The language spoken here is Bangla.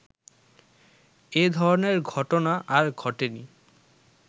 এধরনের ঘটনা আর ঘটেনি